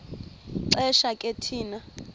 xesha ke thina